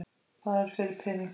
Hvað er fyrir peningum?